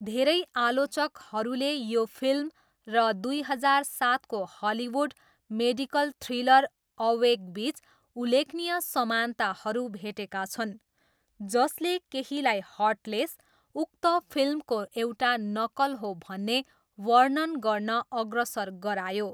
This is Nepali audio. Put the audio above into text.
धेरै आलोचकहरूले यो फिल्म र दुई हजार सातको हलिउड मेडिकल थ्रिलर अवेकबिच उल्लेखनीय समानताहरू भेटेका छन्, जसले केहीलाई हर्टलेस उक्त फिल्मको एउटा नक्कल हो भन्ने वर्णन गर्न अग्रसर गरायो।